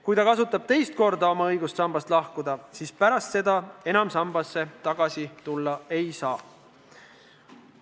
Kui ta kasutab teist korda oma õigust sambast lahkuda, siis pärast seda ta enam sambaga liituda ei saa.